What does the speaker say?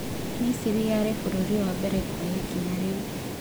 Misiri yarĩ bũrũri wa mbere kwoya ikinya rĩu